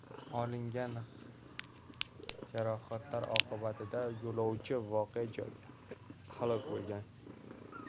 Olingan jarohatlar oqibatida yo‘lovchi voqea joyida halok bo‘lgan.